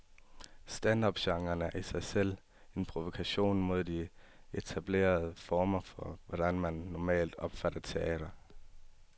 Stand-up genren er i sig selv en provokation mod de etablerede former for, hvordan man normalt opfatter teater.